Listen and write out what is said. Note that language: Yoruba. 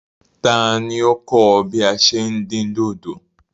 Tani o kọ̀ ọ bí à ṣé ń dín dòdò?